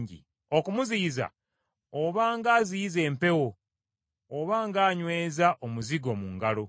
Okumuziyiza obanga aziyiza empewo oba ng’anyweza omuzigo mu ngalo.